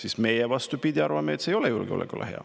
Aga meie, vastupidi, arvame, et see ei ole julgeolekule hea.